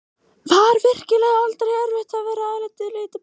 Var virkilega aldrei erfitt að vera hér alein með lítið barn?